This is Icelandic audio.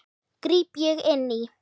gríp ég inn í.